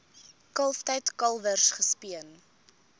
kalftyd kalwers gespeen